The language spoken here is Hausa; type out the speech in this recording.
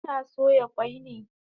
Kina soya kwai ne?